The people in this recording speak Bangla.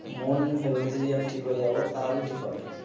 মন ভেবীলিটি আমি ঠিক হয়ে যাবো তাহলে ঠিক হবে